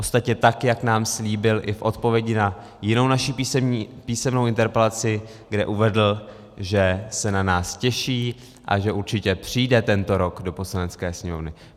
Ostatně tak jak nám slíbil i v odpovědi na jinou naši písemnou interpelaci, kde uvedl, že se na nás těší a že určitě přijde tento rok do Poslanecké sněmovny.